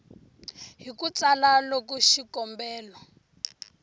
hi ku tsala loko xikombelo